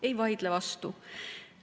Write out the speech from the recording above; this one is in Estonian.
Ei vaidle vastu.